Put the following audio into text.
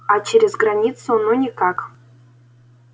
а через границу ну никак